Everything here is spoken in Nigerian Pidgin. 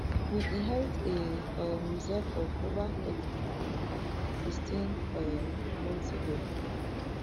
we inherit a um reserve of over thirty-three billion sixteen um months ago